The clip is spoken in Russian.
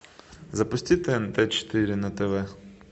запусти тнт четыре на тв